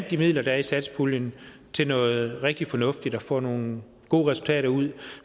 de midler der er i satspuljen til noget rigtig fornuftigt og får nogle gode resultater ud